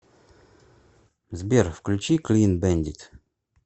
сбер включи клин бэндит